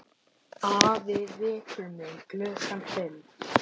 Afi vekur mig klukkan fimm.